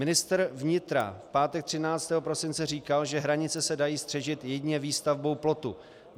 Ministr vnitra v pátek 13. prosince říkal, že hranice se dají střežit jedině výstavbou plotu.